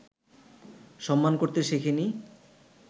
সম্মান করতে শিখিনি